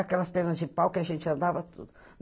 Aquelas pernas de pau que a gente andava tudo.